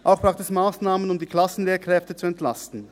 Zudem braucht es Massnahmen, um die Klassenlehrkräfte zu entlasten.